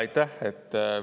Aitäh!